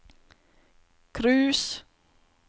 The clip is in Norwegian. cruise